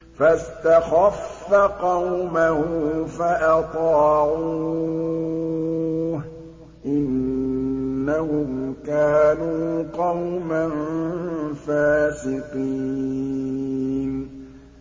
فَاسْتَخَفَّ قَوْمَهُ فَأَطَاعُوهُ ۚ إِنَّهُمْ كَانُوا قَوْمًا فَاسِقِينَ